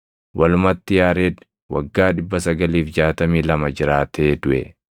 Walumatti Yaared waggaa 962 jiraatee duʼe.